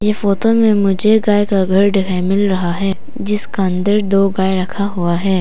Photo में मुझे गाय का घर दिखाई मिल रहा है जिसका अंदर दो गाय रखा हुआ है।